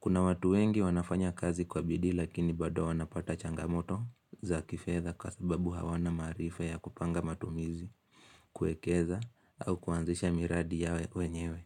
Kuna watu wengi wanafanya kazi kwa bidii lakini bado wanapata changamoto za kifedha kwa sababu hawana maarifa ya kupanga matumizi, kuekeza au kuanzisha miradi yao wenyewe.